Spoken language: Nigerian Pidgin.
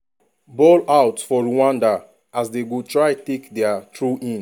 ball out for rwanda as dem go try take take dia throw-in.